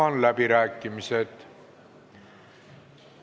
Avan läbirääkimised.